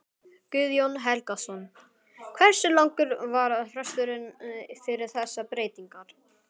Guðjón Helgason: Hversu langur var fresturinn fyrir þessar breytingar?